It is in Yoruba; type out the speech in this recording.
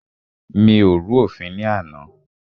Mi ò rú òfin ní àná.